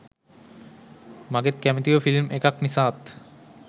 මගෙත් කැමතිම ෆිල්ම් එකක් නිසාත්